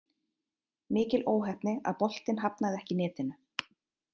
Mikil óheppni að boltinn hafnaði ekki í netinu.